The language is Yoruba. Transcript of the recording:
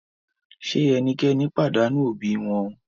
Ṣe ẹnikẹni padanu obi wọn?